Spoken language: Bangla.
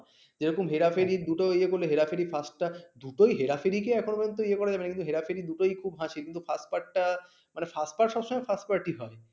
দুটোই হেরা ফেরি কি এখন পর্যন্ত ইয়ে করা যাবে না কিন্তু হেরা ফেরি দুটোই খুব হাসির কিন্তু first part সব সময় first part হয়